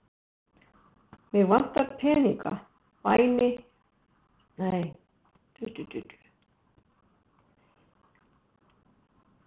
Mig vantar peninga, væni minn.